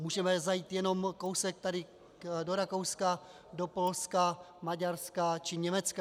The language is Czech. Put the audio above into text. Můžeme zajít jenom kousek tady do Rakouska, do Polska, Maďarska či Německa.